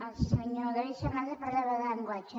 el senyor da·vid fernàndez parlava de llenguatge